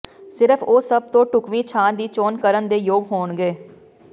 ਸਿਰਫ਼ ਉਹ ਸਭ ਤੋਂ ਢੁਕਵੀਂ ਛਾਂ ਦੀ ਚੋਣ ਕਰਨ ਦੇ ਯੋਗ ਹੋਣਗੇ